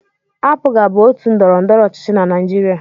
APGA bụ otu ndọrọndọrọ ọchịchị na Naịjirịa.